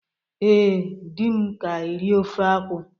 Ee, di m ka eri ofe akwu